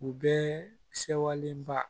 U bɛɛ sewalenba